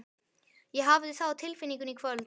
Ég hafði það á tilfinningunni í kvöld.